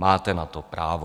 Máte na to právo.